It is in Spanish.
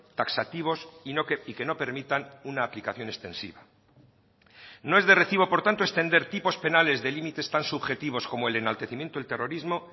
taxativos y que no permitan una aplicación extensiva no es de recibo por tanto extender tipos penales de límites tan subjetivos como el enaltecimiento del terrorismo